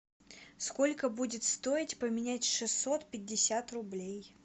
сколько будет стоить поменять шестьсот пятьдесят рублей